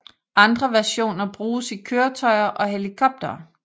Andre versioner bruges i køretøjer og helikoptere